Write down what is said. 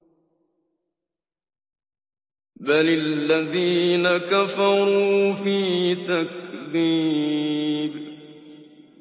بَلِ الَّذِينَ كَفَرُوا فِي تَكْذِيبٍ